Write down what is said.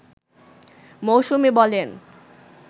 মৌসুমী বলেন